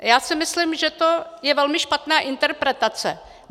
Já si myslím, že to je velmi špatná interpretace.